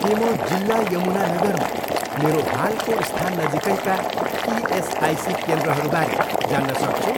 के म जिल्ला यमुनानगरमा मेरो हालको स्थान नजिकैका इएसआइसी केन्द्रहरूबारे जान्न सक्छु?